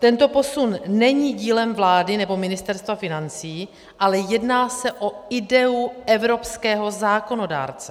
Tento posun není dílem vlády nebo Ministerstva financí, ale jedná se o ideu evropského zákonodárce.